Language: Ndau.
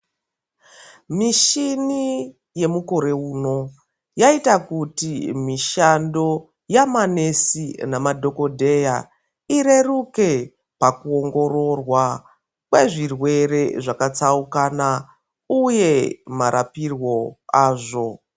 Mishini yemukore uno yaita kuti mishando yamanesi namadhokodheya ireruke pakuongororwa kwezvirwere zvakatsaukana uye marapirwo azvo.